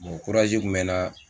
kun bɛ n nan.